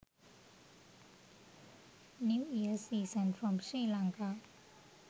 new year season from sri lanka